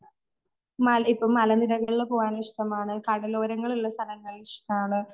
മല, ഇപ്പം മലനിരകളില് പോകാൻ ഇഷ്ടമാണ് കടലോരങ്ങളുള്ള സ്ഥലങ്ങൾ ഇഷ്ടാണ് .